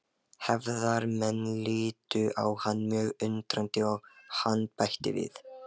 Hefðarmenn litu á hann mjög undrandi og hann bætti við